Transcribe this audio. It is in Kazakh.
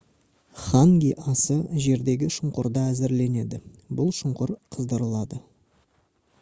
ханги асы жердегі шұңқырда әзірленеді бұл шұңқыр қыздырылады